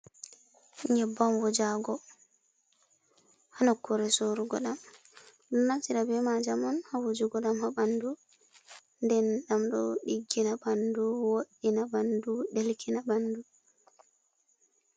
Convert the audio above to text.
Nyebbam wujago, ha nokkure sorugo ɗam, ɗo naftira be majam on ha wujugo ɗam ha ɓandu, nden ɗam ɗo ɗiggina ɓandu, wo'ina ɓandu ɗelkina ɓandu.